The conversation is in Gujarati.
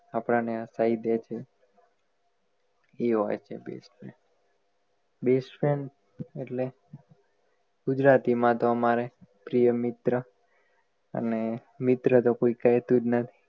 આપણને કઈ દે છે એ હોય છે best friend best friend ઍટલે ગુજરાતી માં તો આમરે પ્રિય મિત્ર અને મિત્ર તો કોઈ કહેતુ નહિ